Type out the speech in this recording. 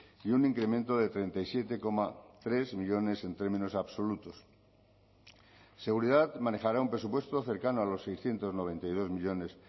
y un incremento de treinta y siete coma tres millónes en términos absolutos seguridad manejará un presupuesto cercano a los seiscientos noventa y dos millónes